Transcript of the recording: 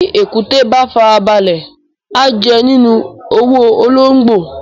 Bì èkúté bá fara balẹ̀, a jẹ nínú owó ológbò.